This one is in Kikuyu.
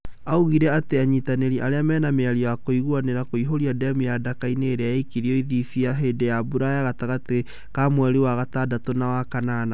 Augire atĩ anyitanĩri arĩa mena mĩario ya kũiguanĩra kũihuria demu ya Daka-inĩ ĩrĩa yakĩtwo Ethipia hĩndĩ ya mbura gatagatĩ ka mweri wa gatandatũ na wa kanana